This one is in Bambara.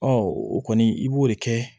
o kɔni i b'o de kɛ